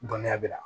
Dɔnniya bɛ na